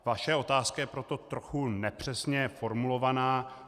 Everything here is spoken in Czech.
Vaše otázka je proto trochu nepřesně formulovaná.